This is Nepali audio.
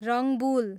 रङ्बुल